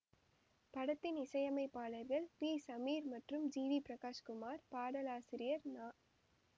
படத்தின் இசையமைப்பாளர்கள் பி சமீர் மற்றும் ஜி வி பிரகாஷ் குமார் பாடலாசிரியர் நா